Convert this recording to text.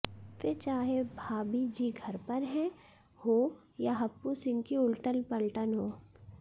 फिर चाहे भाबी जी घर पर हैं हो या हप्पू सिंह की उलटन पलटन हो